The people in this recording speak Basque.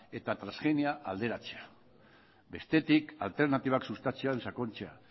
eta transgenia alderatzea bestetik alternatibak sustatzea edo sakontzea